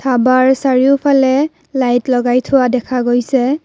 ধাবাৰ চাৰিওফালে লাইট লগাই থোৱা দেখা গৈছে।